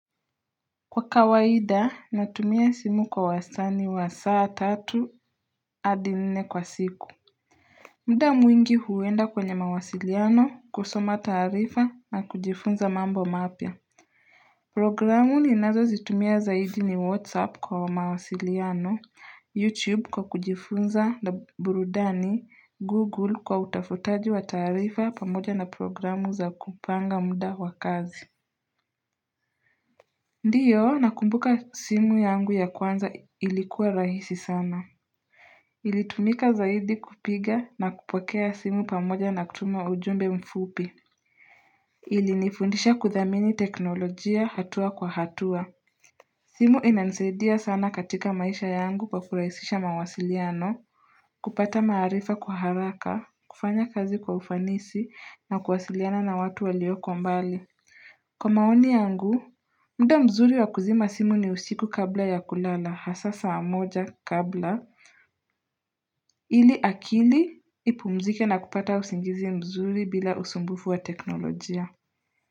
Kwa kawaida natumia simu kwa wasani wa saa tatu hadi nne kwa siku muda mwingi huenda kwenye mawasiliano kusoma taarifa na kujifunza mambo mapya Programu ni nazo zitumia zaidi ni whatsapp kwa mawasiliano, youtube kwa kujifunza na burudani, google kwa utafutaji wa taarifa pamoja na programu za kupanga muda wakazi Ndio nakumbuka simu yangu ya kwanza ilikuwa rahisi sana. Ilitumika zaidi kupiga na kupokea simu pamoja na kutuma ujumbe mfupi. Ilinifundisha kuthamini teknolojia hatua kwa hatua. Simu inanisaidia sana katika maisha yangu kwa kurahisisha mawasiliano, kupata maarifa kwa haraka, kufanya kazi kwa ufanisi na kuwasiliana na watu walioko mbali. Kwa maoni yangu, muda mzuri wa kuzima simu ni usiku kabla ya kulala hasa saa moja kabla ili akili ipumzike na kupata usingizi mzuri bila usumbufu wa teknolojia.